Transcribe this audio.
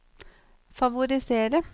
favorisere